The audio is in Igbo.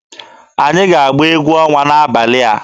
Anyị ga-agba egwu ọnwa n'abalị a.